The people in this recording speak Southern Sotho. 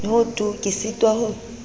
ho tu ke sitwa ho